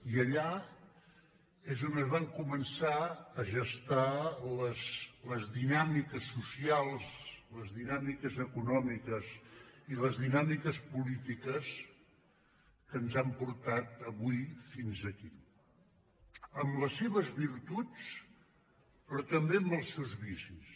i allà és on es van començar a gestar les dinàmiques socials les dinàmiques econòmiques i les dinàmiques polítiques que ens han portat avui fins aquí amb les seves virtuts però també amb els seus vicis